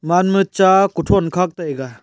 gaman ma chaa kuthow khak taiga.